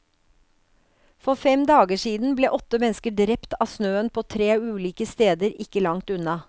For fem dager siden ble åtte mennesker drept av snøen på tre ulike steder ikke langt unna.